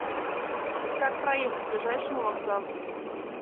как проехать к ближайшему вокзалу